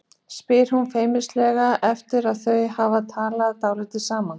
spyr hún feimnislega eftir að þau hafa talað dálítið saman.